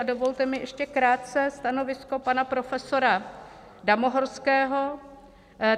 A dovolte mi ještě krátce stanovisko pana profesora Damohorského.